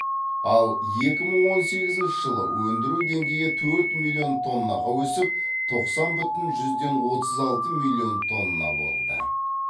ал екі мың он сегізінші жылы өндіру деңгейі төрт миллион тоннаға өсіп тоқсан бүтін жүзден отыз алты миллион тонна болды